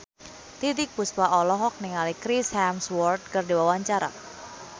Titiek Puspa olohok ningali Chris Hemsworth keur diwawancara